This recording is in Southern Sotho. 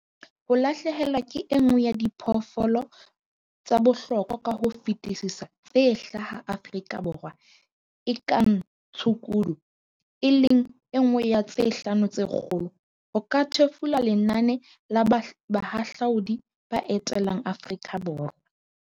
"Ho lahlehelwa ke e nngwe ya diphoofolo tsa bohlokwa ka ho fetisisa tse hlaha Aforika Borwa e kang tshukudu, e leng e nngwe ya tse 'Hlano tse Kgolo' ho ka thefula lenane la bahahlaudi ba etelang Aforika Borwa."